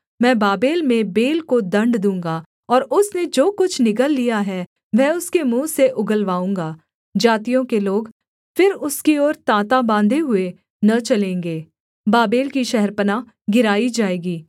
मैं बाबेल में बेल को दण्ड दूँगा और उसने जो कुछ निगल लिया है वह उसके मुँह से उगलवाऊँगा जातियों के लोग फिर उसकी ओर ताँता बाँधे हुए न चलेंगे बाबेल की शहरपनाह गिराई जाएगी